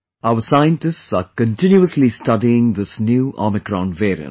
Our scientists are continuously studying this new Omicron variant